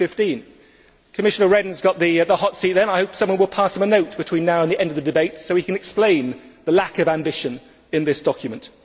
2015. Commissioner Rehn has got the hot seat, then I hope someone will pass him a note between now and the end of the debate so he can explain the lack of ambition in this document.